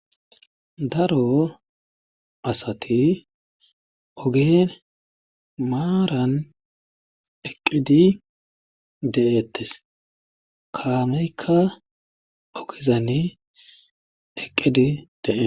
Daro asati ogen maaran eqqidi de'ettes kaameykka ogizani eqqidi dees.